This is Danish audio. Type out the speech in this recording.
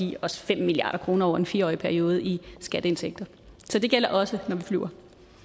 give os fem milliard kroner over en fire årig periode i skatteindtægter så det gælder også når vi flyver